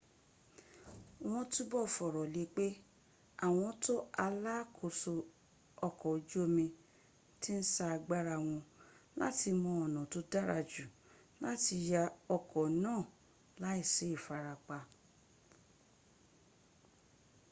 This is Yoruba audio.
won tubo foro le pe awon to alaakoso oko oju omi ti n sa agbara won lati mo ona to dara ju lati yo oko naa laisi ifarapa